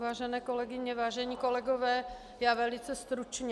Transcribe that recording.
Vážené kolegyně, vážení kolegové, já velice stručně.